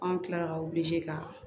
Anw kilala ka wili ka